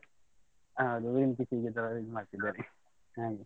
ಹ, ಅದು ಏನ್ ಸಿಕ್ಕಿದ್ರೂ ಈತರ ಇದ್ ಮಾಡ್ತಿದವಲ್ಲಿ ಹಾಗೆ.